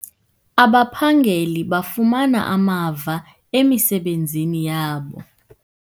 Abaphangeli bafumana amava emisebenzini yabo.